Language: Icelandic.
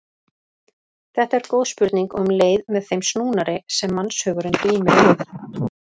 Þetta er góð spurning og um leið með þeim snúnari sem mannshugurinn glímir við.